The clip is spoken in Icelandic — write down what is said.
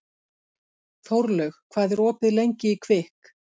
Þórlaug, hvað er opið lengi í Kvikk?